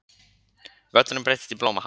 Völlurinn breyttist í blómahaf.